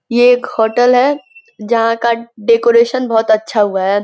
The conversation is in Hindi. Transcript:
यह एक होटल है जहां का डेकोरेशन बहुत अच्छा हुआ है।